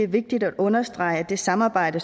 vigtigt at understrege at det samarbejde